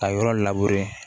A yɔrɔ